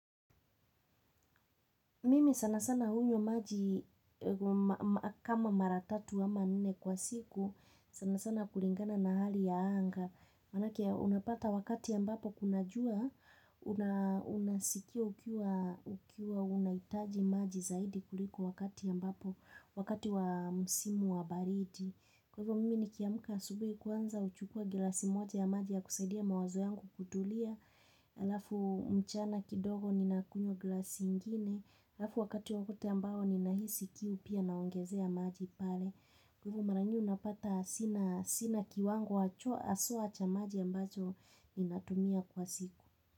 Mimi sana sana hunywa maji kama mara tatu ama nne kwa siku, sana sana kulingana na hali ya anga. Manake unapata wakati ambapo kuna jua, unasikia ukiwa ukiwa unahitaji maji zaidi kuliko wakati ambapo, wakati wa musimu wa baridi. Kwa hivyo mimi nikiamka asubuhi kwanza huchukua glasi moja ya maji ya kusaidia mawazo yangu kutulia. Halafu mchana kidogo ninakunywa glasi ingine halafu wakati wowote ambao ninahisi kiu pia naongezea maji pale kwa ivo mara nyingi unapata sina sina kiwango haswa cha maji ambacho ninatumia kwa siku.